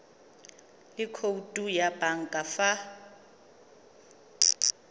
le khoutu ya banka fa